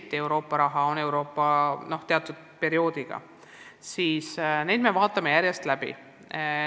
Samas on Euroopa raha kasutamine nii või teisiti piiratud teatud perioodiga ja me vaatame programme järjest läbi.